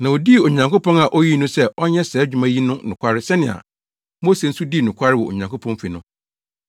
Na odii Onyankopɔn a oyii no sɛ ɔnyɛ saa adwuma yi no nokware sɛnea Mose nso dii nokware wɔ Onyankopɔn fi no.